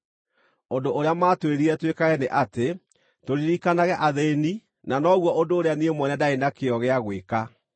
Ũndũ ũrĩa maatwĩrire twĩkage nĩ atĩ tũririkanage athĩĩni na noguo ũndũ ũrĩa niĩ mwene ndaarĩ na kĩyo gĩa gwĩka.